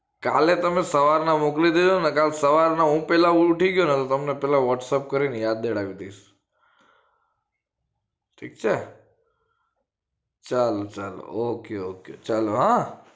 કાલે તમે સવારમાં ના મોકલી દેજો ને કાલે સવારે હું પેલા ઉઠી ગયો ને તમને whatsapp કરી ને યાદ દેવડાવી દઈશ ઠીક છે ચાલો ચાલો ok ok ચાલો હા